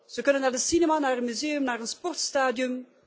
Ze kunnen naar de cinema, naar een museum, naar een sportstadion